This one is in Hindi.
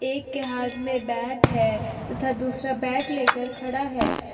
एक के हाथ में बैट है तथा दूसरा बैट लेकर खड़ा है।